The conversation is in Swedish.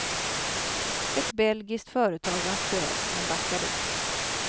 Ett belgiskt företag var aktuellt men backade ut.